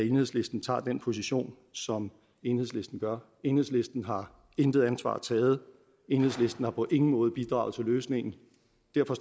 enhedslisten tager den position som enhedslisten gør enhedslisten har intet ansvar taget enhedslisten har på ingen måde bidraget til løsningen